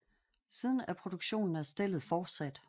Siden er produktionen af stellet fortsat